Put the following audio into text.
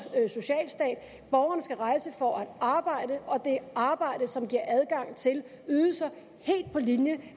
socialstat borgerne skal rejse for at arbejde og det er arbejde som giver adgang til ydelser helt på linje